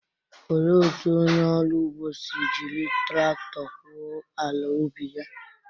Olee otú onye ọrụ ugbo si jiri traktọ gwuo ala ubi ya?